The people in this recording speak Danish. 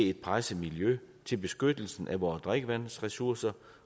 et presset miljø med til beskyttelsen af vores drikkevandsressourcer